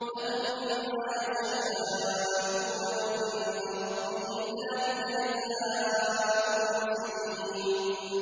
لَهُم مَّا يَشَاءُونَ عِندَ رَبِّهِمْ ۚ ذَٰلِكَ جَزَاءُ الْمُحْسِنِينَ